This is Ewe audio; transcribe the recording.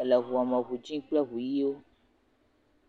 Ele eŋua me ŋi dzi kple ŋi ʋiwo.